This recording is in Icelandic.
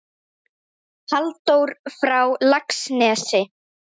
Halldór frá Laxnesi?